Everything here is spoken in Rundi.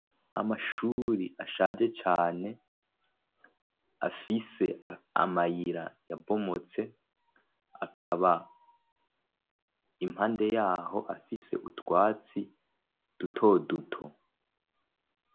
Amashuri ashaje cane afise amayira yabomotse, akaba impande yaho afise utwatsi duto duto.